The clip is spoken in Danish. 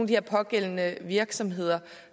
de pågældende virksomheder